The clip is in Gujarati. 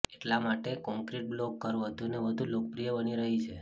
એટલા માટે કોંક્રિટ બ્લોક ઘર વધુને વધુ લોકપ્રિય બની રહી છે